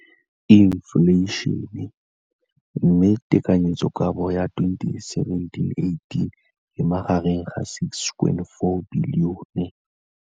Infleišene, mme tekanyetsokabo ya 2017 le 2018 e magareng ga R6.4 bilione.